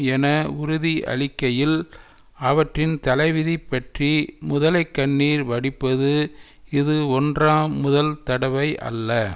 என உறுதியளிக்கையில் அவற்றின் தலைவிதி பற்றி முதலை கண்ணீர் வடிப்பது இது ஒன்றாம் முதல் தடவை அல்ல